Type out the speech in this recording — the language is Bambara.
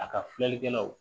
A ka filɛlikɛlaw